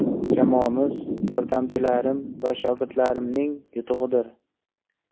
Jamoamiz, yordamchilarim va shogirdlarimning yutug‘idir.